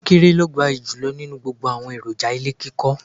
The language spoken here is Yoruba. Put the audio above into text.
Kọnkéré ni ó gbayì jùlọ nínú àwọn èròjà ilé kíkọ́.